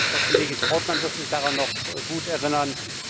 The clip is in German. Frau Kollegin Trautmann wird sich daran noch gut erinnern.